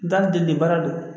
Da deliba de